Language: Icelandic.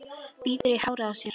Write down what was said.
Bítur í hárið á sér.